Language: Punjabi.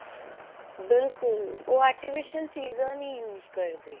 ਬਿਲਕੁਲ ਉਹ artificial ਚੀਜ਼ਾਂ ਨੀ use ਕਰਦੇ